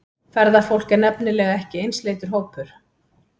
Ferðafólk er nefnilega ekki einsleitur hópur.